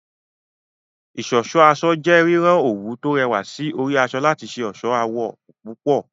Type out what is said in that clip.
Ìṣọ̀ṣọ́ aṣọ jẹ́ rírán àwọn òwú tó rẹwà sí orí aṣọ láti ṣe ọ̀ṣọ́ àwọ̀ púpọ̀